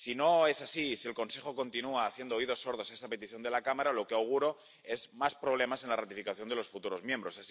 Si no es así, y si el Consejo continúa haciendo oídos sordos a esta petición de la Cámara, lo que auguro son más problemas en la ratificación de los futuros miembros.